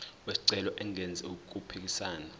wesicelo engenzi okuphikisana